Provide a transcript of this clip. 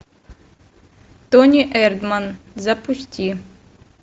тони эрдман запусти